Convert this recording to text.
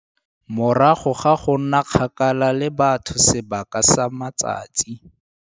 Morago ga go nna kgakala le batho sebaka sa matsatsi